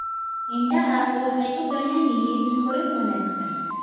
Idaha waxay u baahan yihiin korin wanaagsan.